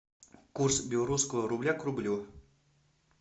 курс белорусского рубля к рублю